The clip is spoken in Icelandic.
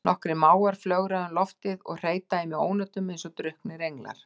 Nokkrir mávar flögra um loftið og hreyta í mig ónotum eins og drukknir englar.